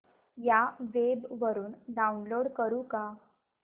या वेब वरुन डाऊनलोड करू का